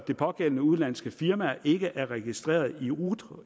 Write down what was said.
det pågældende udenlandske firma ikke er registreret i rut